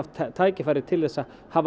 tækifæri til að hafa